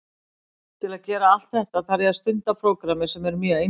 Til að gera allt þetta þarf ég að stunda prógrammið sem er mjög einfalt.